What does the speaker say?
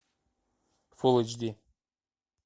фул эйч ди